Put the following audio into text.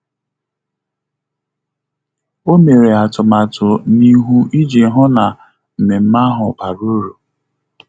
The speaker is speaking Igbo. Ọ́ mèrè átụ́màtụ́ n’íhú iji hụ́ na mmemme ahụ bàrà uru.